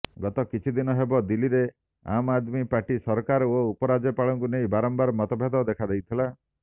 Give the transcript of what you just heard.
ଗତ କିଛିଦିନ ହେବ ଦିଲ୍ଲୀରେ ଆମଆଦମୀ ପାର୍ଟି ସରକାର ଓ ଉପରାଜ୍ୟପାଳଙ୍କୁ ନେଇ ବାରମ୍ବାର ମତଭେଦ ଦେଖାଦେଇଥିଲା